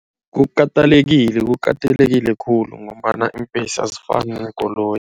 Kukatelekile, kukatelekile khulu ngombana iimbhesi azifani neenkoloyi.